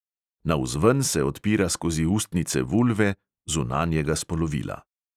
Navzven se odpira skozi ustnice vulve (zunanjega spolovila).